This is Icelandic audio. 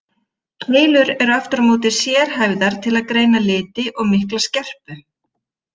Keilur eru aftur á móti sérhæfðar til að greina liti og mikla skerpu.